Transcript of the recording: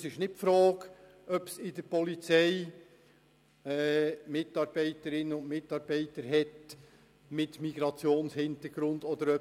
Es ist nicht die Frage, ob bei der Polizei Leute mit Migrationshintergrund arbeiten.